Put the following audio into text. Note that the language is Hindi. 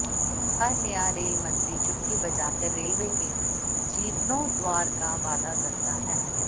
हर नया रेल मंत्री चुटकी बजाकर रेलवे के जीर्णोद्वार का वादा करता है